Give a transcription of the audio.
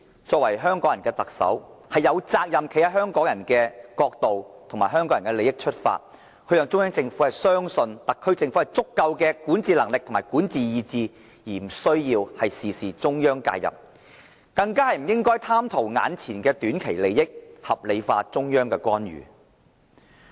作為香港人的特首，她有責任站在香港人的角度，由香港人的利益出發，讓中央政府相信特區政府有足夠的管治能力和管治意志，無需中央事事介入，更不應貪圖短期利益，把中央的干預合理化。